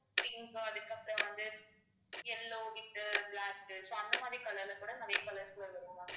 pink அதுக்கப்புறம் வந்து yellow with black so அந்த மாதிரி color ல கூட நிறைய colors ல வரும் ma'am